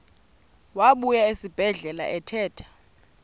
wabuya esibedlela ephethe